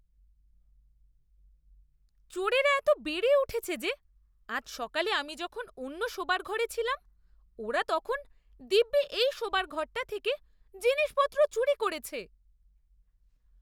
চোরেরা এত বেড়ে উঠেছে যে আজ সকালে আমি যখন অন্য শোবার ঘরে ছিলাম ওরা তখন দিব্যি এই শোবার ঘরটা থেকে জিনিসপত্র চুরি করেছে!